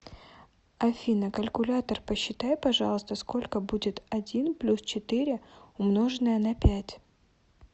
афина калькулятор посчитай пожалуйста сколько будет один плюс четыре умноженное на пять